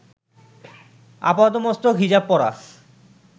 আপাদমস্তক হিজাব পরা